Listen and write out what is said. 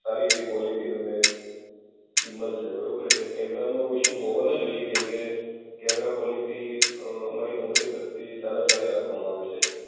સારી એવી ક્વોલિટી તમને મળશે બરોબર. એટલે કેમેરાનો ઇશુ હોવો ન જોઈએ કેમકે, કેમેરા ક્વોલિટી અ અમારી કંપની તરફથી સારા સારી રાખવામાં આવે છે.